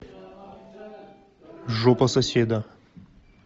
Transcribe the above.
жопа соседа